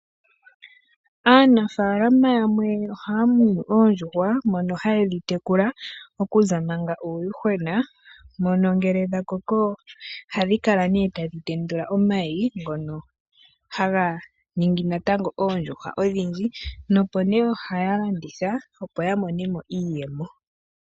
Aanafaalama yamwe oha ya munu oondjuhwa mono ha yedhi tekula okuza manga uuyuhwena mono ngele dha koko oha dhikala kala nee tadhi tendula omayi ngono haga ningi natango oondjuhwa odhindji nopo nee oha yalanditha opo ya monemo iiyemo.